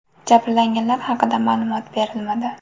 Jabrlanganlar haqida ma’lumot berilmadi.